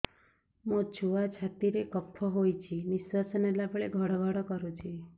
ମୋ ଛୁଆ ଛାତି ରେ କଫ ହୋଇଛି ନିଶ୍ୱାସ ନେଲା ବେଳେ ଘଡ ଘଡ କରୁଛି